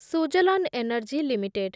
Suzlon Energy limited